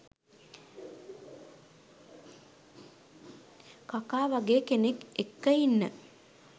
කකා වගේ කෙනෙක් එක්ක ඉන්න